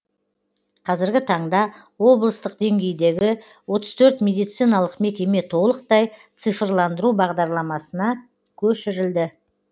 қазіргі таңда облыстық деңгейдегі отыз төрт медициналық мекеме толықтай цифрландыру бағдарламасына көшірілді